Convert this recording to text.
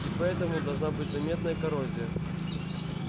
и поэтому должна быть заметная коррозия